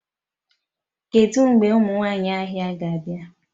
Kedu mgbe ụmụ nwanyị ahịa ga-abịa?